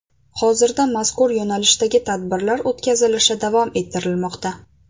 Hozirda mazkur yo‘nalishdagi tadbirlar o‘tkazilishi davom ettirilmoqda.